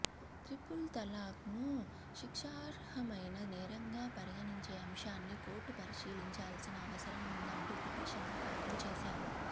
triple talaq ను శిక్షార్హమైన నేరంగా పరిగణించే అంశాన్ని కోర్టు పరిశీలించాల్సిన అవసరం ఉందంటూ పిటిషన్లు దాఖలు చేశారు